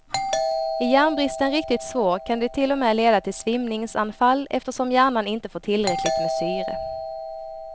Är järnbristen riktigt svår kan det till och med leda till svimningsanfall eftersom hjärnan inte får tillräckligt med syre.